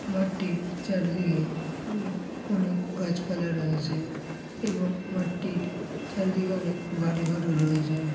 মাঠটির চারদিকে উমম অনেক গাছপালা রয়েছে এবং মাঠটির চারিদিকে অনেক বাড়িঘর রয়েছে।